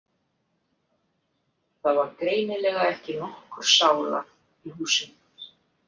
Það var greinilega ekki nokkur sála í húsinu.